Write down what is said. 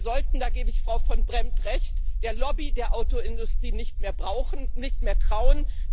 Wir sollten da gebe ich Frau Van Brempt Recht der Lobby der Autoindustrie nicht mehr trauen.